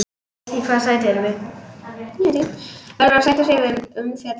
Verður að sætta sig við umfjöllun